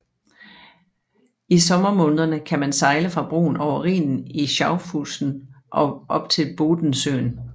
I sommermånederne kan man sejle fra broen over Rhinen i Schaffhausen og op til Bodensøen